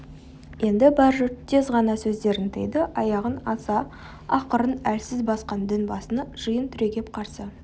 енді бар жұрт тез ғана сөздерін тыйды аяғын аса ақырын әлсіз басқан дінбасыны жиын түрегеп қарсы